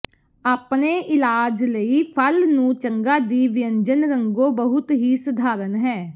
ਆਪਣੇ ਇਲਾਜ ਲਈ ਫਲ ਨੂੰ ਚੰਗਾ ਦੀ ਵਿਅੰਜਨ ਰੰਗੋ ਬਹੁਤ ਹੀ ਸਧਾਰਨ ਹੈ